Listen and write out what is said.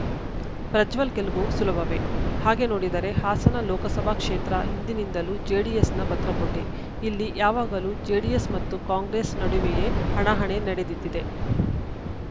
ಪ್ರಜ್ವಲ್‌ ಗೆಲುವು ಸುಲಭವೇ ಹಾಗೆ ನೋಡಿದರೆ ಹಾಸನ ಲೋಕಸಭಾ ಕ್ಷೇತ್ರ ಹಿಂದಿನಿಂದಲೂ ಜೆಡಿಎಸ್‌ನ ಭದ್ರಕೋಟೆ ಇಲ್ಲಿ ಯಾವಾಗಲೂ ಜೆಡಿಎಸ್‌ ಮತ್ತು ಕಾಂಗ್ರೆಸ್‌ ನಡುವೆಯೇ ಹಣಾಹಣಿ ನಡೆದಿದ್ದಿದೆ